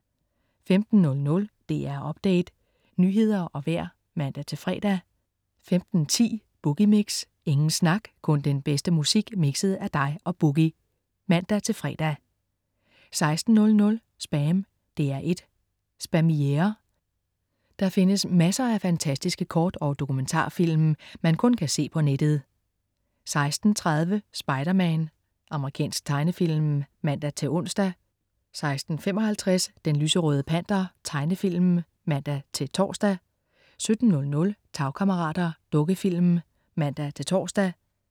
15.00 DR Update. Nyheder og vejr (man-fre) 15.10 Boogie Mix. Ingen snak, kun den bedste musik mikset af dig og "Boogie" (man-fre) 16.00 SPAM. DR1 Spamiere. Der findes masser af fantastiske kort- og dokumentarfilm, man kun kan se på nettet 16.30 Spider-Man. Amerikansk tegnefilm (man-ons) 16.55 Den lyserøde Panter. Tegnefilm (man-tors) 17.00 Tagkammerater. Dukkefilm (man-tors)